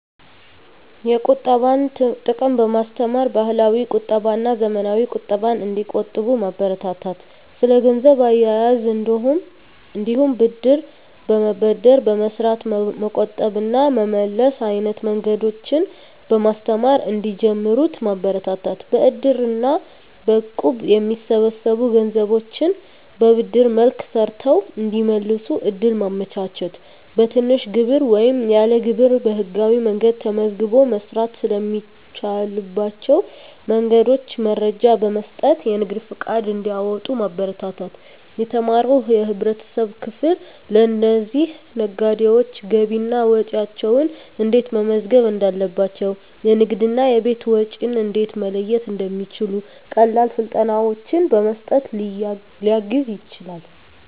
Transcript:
የቁጠባን ጥቅም በማስተማር፣ ባህላዊ ቁጠባና ዘመናዊ ቁጠባን እንዲቆጥቡ ማበረታታት። ስለ ገንዘብ አያያዝ እንዲሁም ብድር በመበደር በመስራት መቆጠብ እና መመለስ አይነት መንገዶችን በማስተማር እንዲጀምሩት ማበረታታት። በእድር እና በእቁብ የሚሰበሰቡ ገንዘቦችን በብድር መልክ ሰርተው እንዲመልሱ እድል ማመቻቸት። በትንሽ ግብር ወይም ያለ ግብር በህጋዊ መንገድ ተመዝግቦ መስራት ስለሚቻልባቸው መንገዶች መረጃ በመስጠት የንግድ ፈቃድ እንዲያወጡ ማበረታታት። የተማረው የህብረተሰብ ክፍል ለእነዚህ ነጋዴዎች ገቢና ወጪያቸውን እንዴት መመዝገብ እንዳለባቸው፣ የንግድና የቤት ወጪን እንዴት መለየት እንደሚችሉ ቀላል ስልጠናዎችን በመስጠት ሊያግዝ ይችላል።